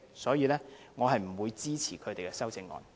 所以，我不會支持他們的修正案。